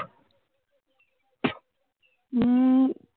মম